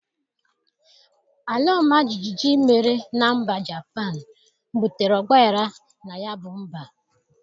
Alaọmajịjị mere na mba Japan butere ọgbaghara na ya bụ mba